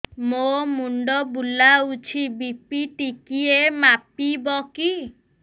ମୋ ମୁଣ୍ଡ ବୁଲାଉଛି ବି.ପି ଟିକିଏ ମାପିବ କି